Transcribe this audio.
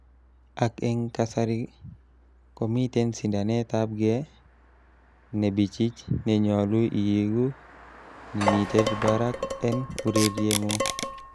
Ak en kasari, komiten sindanetabge nebichich nenyolu iigu nimited barak en urerieng'ung.